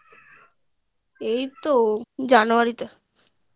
এই তো January